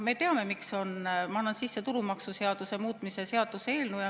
Ma annan sisse tulumaksuseaduse muutmise seaduse eelnõu.